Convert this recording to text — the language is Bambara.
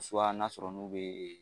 n'a sɔrɔ n'u bɛ